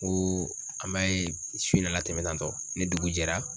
N ko an m'a ye su in na latɛmɛ tantɔ ni dugu jɛra